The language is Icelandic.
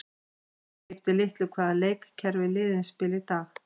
Það skiptir litlu hvaða leikkerfi liðin spila í dag.